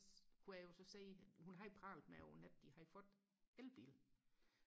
kunne jeg jo så se hun havde pralet med over nettet med at de havde fået elbil